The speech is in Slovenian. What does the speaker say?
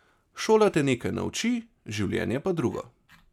Šola te nekaj nauči, življenje pa drugo.